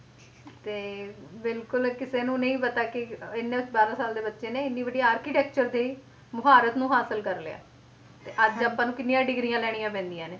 ਤੇ ਬਿਲਕੁਲ ਕਿਸੇ ਨੂੰ ਨਹੀਂ ਪਤਾ ਕਿ ਇਹਨੇ ਬਾਰਾਂ ਸਾਲ ਦੇ ਬੱਚੇ ਨੇ ਇੰਨੀ ਵੱਡੀ architecture ਦੀ ਮੁਹਾਰਤ ਨੂੰ ਹਾਸਿਲ ਕਰ ਲਿਆ ਤੇ ਅੱਜ ਆਪਾਂ ਨੂੰ ਕਿੰਨੀਆਂ ਡਿਗਰੀਆਂ ਲੈਣੀਆਂ ਪੈਂਦੀਆਂ ਨੇ